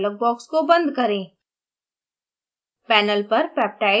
insert peptide dialog box को बंद करें